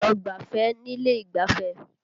Lọ gbáfẹ́ nílé ìgbáfẹ́!